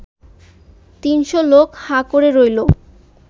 তিনশো লোক হাঁ করে রইল